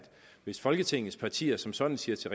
hvis folketingets partier som sådan siger til